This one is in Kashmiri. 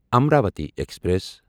امراوتی ایکسپریس